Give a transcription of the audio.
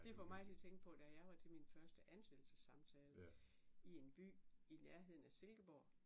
Det får mig til at tænke på da jeg var til min første ansættelsessamtale i en by i nærheden af Silkeborg